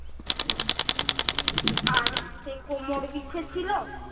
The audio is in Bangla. আর হচ্ছে কোমর বিছে ছিলো,